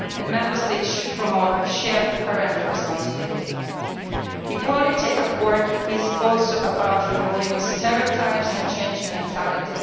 Member States should promote shared parental responsibility. Equality at work is also about removing stereotypes and changing mentality.